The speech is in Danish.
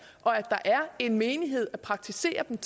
og at der er en menighed at praktisere dem